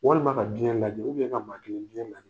Walima ka biɲɛ lajɛ , ka maa kelen biɲɛ lajɛ.